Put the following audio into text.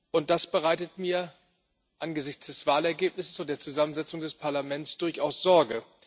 Und das bereitet mir angesichts des Wahlergebnisses und der Zusammensetzung des Parlaments durchaus Sorge.